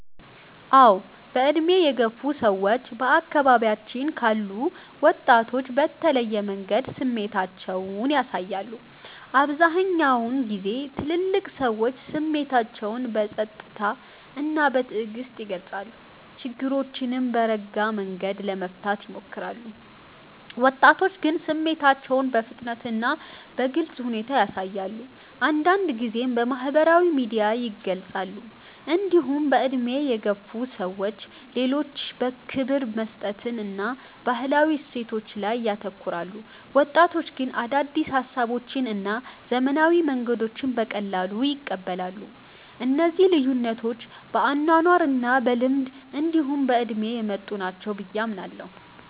አዎ። በዕድሜ የገፉ ሰዎች በአካባቢያችን ካሉ ወጣቶች በተለየ መንገድ ስሜታቸውን ያሳያሉ። አብዛኛውን ጊዜ ትልልቅ ሰዎች ስሜታቸውን በጸጥታ እና በትዕግስት ይገልጻሉ፣ ችግሮችንም በረጋ መንገድ ለመፍታት ይሞክራሉ። ወጣቶች ግን ስሜታቸውን በፍጥነት እና በግልጽ ሁኔታ ያሳያሉ፣ አንዳንድ ጊዜም በማህበራዊ ሚዲያ ይገልጻሉ። እንዲሁም በዕድሜ የገፉ ሰዎች ለሌሎች ክብር መስጠትን እና ባህላዊ እሴቶችን ላይ ያተኩራሉ። ወጣቶች ግን አዳዲስ ሀሳቦችን እና ዘመናዊ መንገዶችን በቀላሉ ይቀበላሉ። እነዚህ ልዩነቶች በአኗኗር እና በልምድ እንዲሁ በእድሜ የመጡ ናቸው ብየ አምናለሁ።